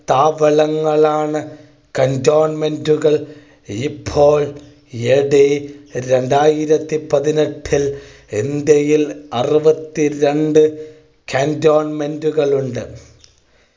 സ്ഥാപനങ്ങളാണ് cantonment കൾ ഇപ്പോൾ AD രണ്ടായിരത്തി പതിനെട്ടിൽ ഇന്ത്യയിൽ അറുപത്തി രണ്ട് cantonment കളുണ്ട്